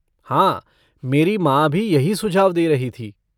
हाँ, मेरी माँ भी यही सुझाव दे रही थी।